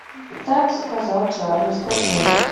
так сказал чарли скачай